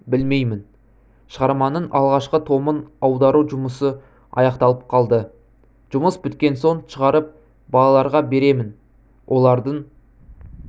білмеймін шығарманың алғашқы томын аудару жұмысы аяқталып қалды жұмыс біткен соң шығарып балаларға беремін олардың